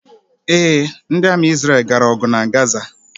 Ee, ndi Ami Isreal gara ogu na Gaza